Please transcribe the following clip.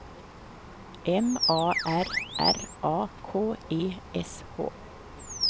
M A R R A K E S H